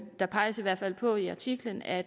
der peges i hvert fald på i artiklen at